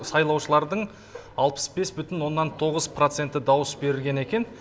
сайлаушылардың алпыс бес бұтін оннан тоғыз проценті дауыс берілген екен